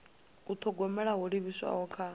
u thogomela ho livhiswaho kha